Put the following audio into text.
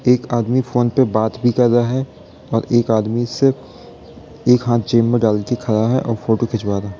एक आदमी फ़ोन पे बात भी कर रहा है और एक आदमी सिर्फ एक हाथ जेब में डाल के खड़ा है और और फोटो खिचवा रहा है।